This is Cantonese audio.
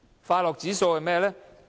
快樂指數是甚麼呢？